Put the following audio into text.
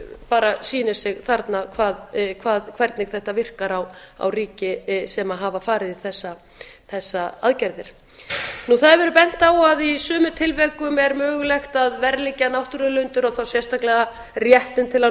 bara sýnir sig þarna hvernig þetta virkar á ríki sem hafa farið í þessar aðgerðir það hefur verið bent á að í sumum tilvikum er mögulegt að verðleggja náttúruauðlindir og þá sérstaklega réttinn til að